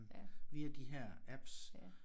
Via de her apps